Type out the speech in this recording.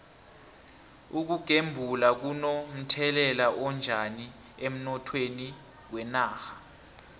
ukugembula kuno mthelela onjani emnothweni wenarha